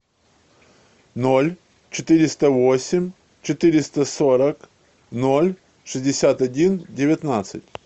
ноль четыреста восемь четыреста сорок ноль шестьдесят один девятнадцать